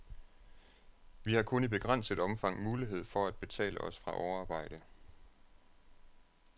Vi har kun i begrænset omfang mulighed for at betale os fra overarbejde.